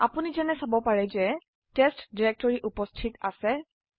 আপোনি ঝেনে চাব পাৰে যে টেস্ট ডিৰেক্টৰি উপস্থিত আছে